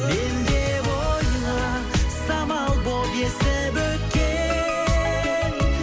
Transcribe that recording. мен деп ойла самал болып есіп өткен